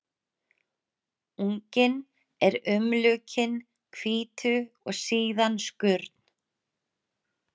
Unginn er umlukinn hvítu og síðan skurn.